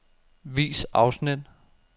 Vis afsnit.